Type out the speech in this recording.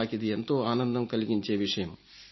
నాకిది ఎంతో ఆనందం కలిగించే విషయం